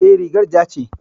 E, rigar ja ce.